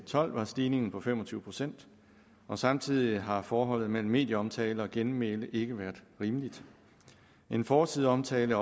tolv var stigningen på fem og tyve procent og samtidig har forholdet mellem medieomtale og genmæle ikke være rimeligt en forsideomtale